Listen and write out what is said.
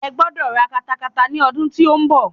Ẹ gbọ́dọ̀ ra katakata ni ọdún tí ó ń bọ̀.